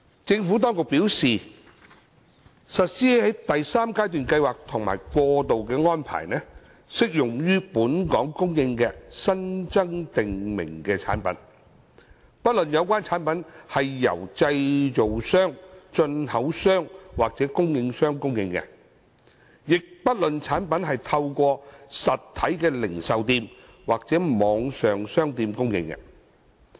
政府當局表示，實施第三階段計劃及過渡安排，適用於在本港供應的新增訂明產品，不論有關產品是由製造商、進口商或供應商供應，亦不論產品是透過實體零售店或網上商店供應。